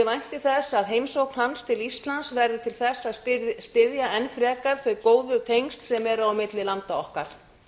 vænti þess að heimsókn hans til íslands verði til þess að styrkja enn frekar þau góðu tengsl sem eru milli landa okkar